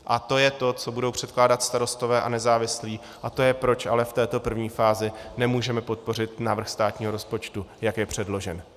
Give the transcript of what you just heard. A to je to, co budou předkládat Starostové a nezávislí, a to je, proč ale v této první fázi nemůžeme podpořit návrh státního rozpočtu, jak je předložen.